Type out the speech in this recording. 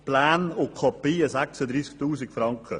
Pläne und Kopien kosten 36 000 Franken.